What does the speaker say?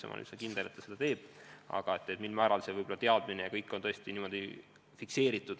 Ma olen üsna veendunud, et kiirabi seda teeb, aga see teadmine peaks olema kindel ja asi kusagil fikseeritud.